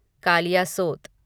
Kaliasot